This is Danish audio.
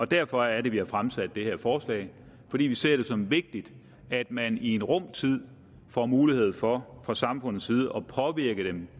derfor er det vi har fremsat det her forslag vi vi ser det som vigtigt at man i en rum tid får mulighed for fra samfundets side at påvirke dem